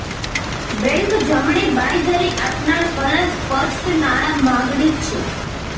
bank જમણી બાંયધરી આપનાર કલા સ્પષ્ટ નાણાં માગણી છે